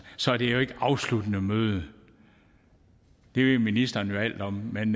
så er det jo ikke et afsluttende møde det ved ministeren alt om men